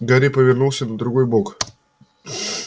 гарри повернулся на другой бок